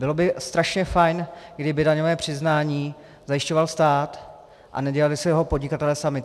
Bylo by strašně fajn, kdyby daňové přiznání zajišťoval stát a nedělali si ho podnikatelé sami.